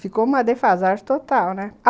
Ficou uma defasagem total, né?